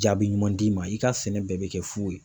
Jaabi ɲuman d'i ma i ka sɛnɛ bɛɛ bɛ kɛ fu ye.